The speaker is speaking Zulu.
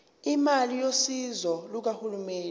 imali yosizo lukahulumeni